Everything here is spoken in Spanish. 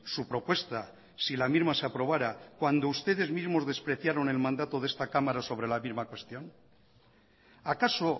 su propuesta si la misma se aprobara cuando ustedes mismos despreciaron el mandato de esta cámara sobre la misma cuestión acaso